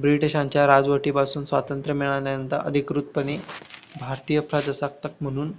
ब्रिटिशांच्या राजवटीपासून स्वातंत्र्य मिळवल्यानंतर अधिकृतपणे भारतीय प्रजासत्ताक म्हणून